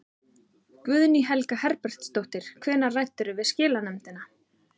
Guðný Helga Herbertsdóttir: Hvenær ræddirðu við skilanefndina?